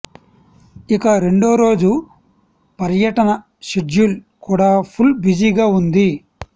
ఇక రెండో రోజు పర్యటన షెడ్యూల్ కూడా ఫుల్ బిజీగా ఉంది